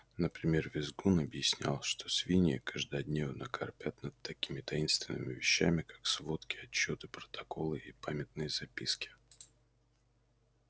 например визгун объяснял что свиньи каждодневно корпят над такими таинственными вещами как сводки отчёты протоколы и памятные записки